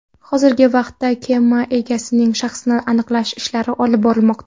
Hozirgi vaqtda kema egasining shaxsini aniqlash ishlari olib borilmoqda.